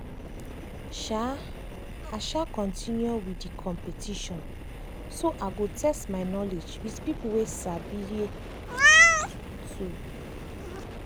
um i um continue with the competition so i go test my knowledge with people wey sabi um too.